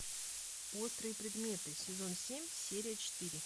острые предметы сезон семь серия четыре